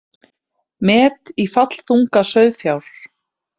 Met í fallþunga sauðfjár